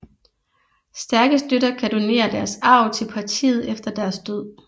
Stærke støtter kan donere deres arv til partiet efter deres død